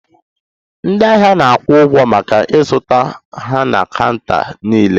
Ndị ahịa na-akwụ ụgwọ maka ịzụta ha na counter nlele